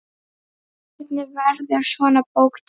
Hvernig verður svona bók til?